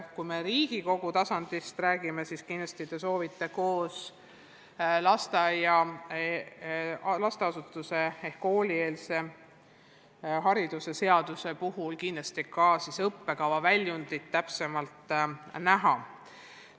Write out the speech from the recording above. Kui me Riigikogu tasandist räägime, siis kindlasti te soovite koos koolieelse lasteasutuse seaduse muutmise seaduse eelnõuga ka täpsemalt õppekava näha.